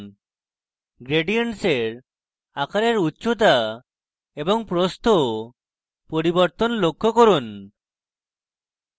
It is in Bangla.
gradient এর আকারের উচ্চতা এবং প্রস্থ পরিবর্তন লক্ষ্য করুন